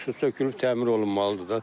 Bu sökülüb təmir olunmalıdır da.